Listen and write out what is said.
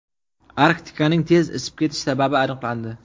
Arktikaning tez isib ketishi sababi aniqlandi.